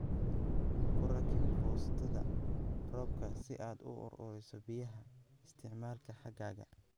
Ku rakib foostada roobka si aad u ururiso biyaha isticmaalka xagaaga